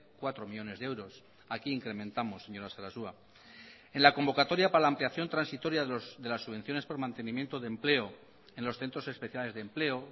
cuatro millónes de euros aquí incrementamos señora sarasua en la convocatoria para la ampliación transitoria de las subvenciones por el mantenimiento de empleo en los centros especiales de empleo